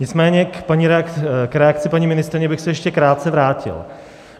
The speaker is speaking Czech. Nicméně k reakci paní ministryně bych se ještě krátce vrátil.